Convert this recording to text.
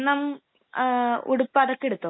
അപ്പം സ്വർണം, ഉടുപ്പ്...അതൊക്കെ എടുത്തോ?